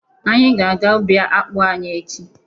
Anyị ga-aga ubi akpụ anyị echi.